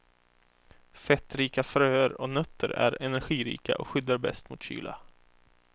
Fettrika fröer och nötter är energirika och skyddar bäst mot kyla.